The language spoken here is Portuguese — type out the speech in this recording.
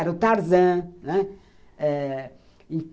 Era o Tarzan, né? Eh